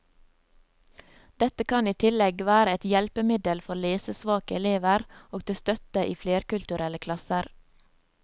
Dette kan i tillegg være et hjelpemiddel for lesesvake elever, og til støtte i flerkulturelle klasser.